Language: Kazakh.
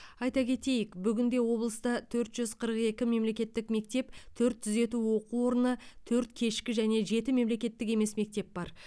айта кетейік бүгінде облыста төрт жүз қырық екі мемлекеттік мектеп төрт түзету оқу орны төрт кешкі және жеті мемлекеттік емес мектеп бар